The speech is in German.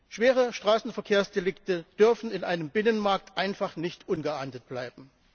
Schwere Straßenverkehrsdelikte dürfen in einem Binnenmarkt einfach nicht ungeahndet bleiben.